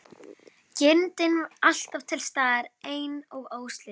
Girndin alltaf til staðar ein og óslitin.